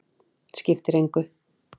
Skiptir engu.